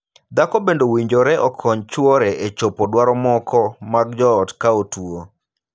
Dhako bende owinjore okony chuore e chopo dwaro moko mag joot ka otuo.